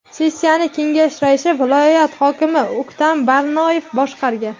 Sessiyani kengash raisi, viloyat hokimi O‘ktam Barnoyev boshqargan.